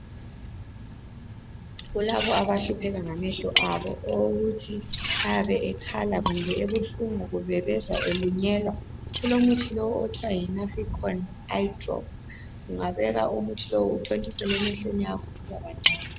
Kulabo abahlupheka ngamehlo abo okokuthi ayabe ekhala kumbe ebuhlungu kumbe bezwa elunyelwa kulomuthi lowu othwa yiNaphicon eye drop, ungabeka umuthi lowu uthontisele emehlweni akho, uyabangcono.